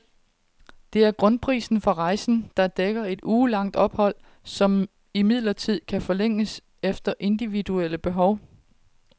Det er grundprisen for rejsen, der dækker et ugelangt ophold, som imidlertid kan forlænges efter individuelle behov.